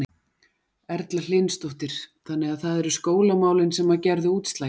Erla Hlynsdóttir: Þannig að það eru skólamálin sem að gerðu útslagið?